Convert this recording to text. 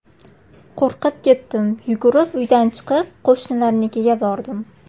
Qo‘rqib ketdim, yugurib uydan chiqib, qo‘shnilarnikiga bordim.